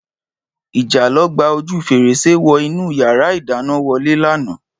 Ìjàlọ gba ojú fèrèsé wọ inú yàrá ìdáná wọlé lánàá